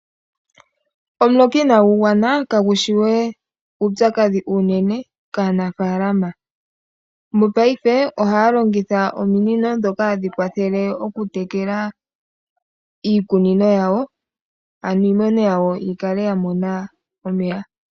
Omuloka inagu gwana kagu shi wee uupyakadhi unene kaanafalama. Mopaife ohaa longitha ominino dhoka hadhi kwathele oku tekela iikunino yawo, ano iimeno yawo yi kale ya mona omeya.